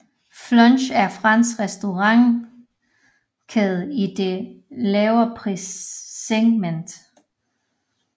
Flunch er fransk restaurantkæde i det lavere prissegment